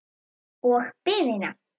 Og biðina.